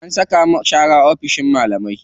An saka mu share oficin malamai.